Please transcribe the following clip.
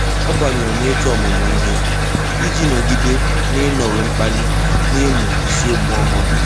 Ọ́ bányèrè n’òtù ọ́mụ́mụ́ ihe iji nọ́gídé n’ị́nọ́wé mkpali n’ị́mụ́ isiokwu ọ́hụ́rụ́.